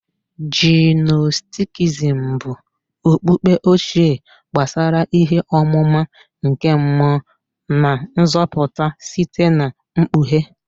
Gnostikism bụ okpukpe ochie gbasara ihe ọmụma nke mmụọ na nzọpụta site na mkpughe.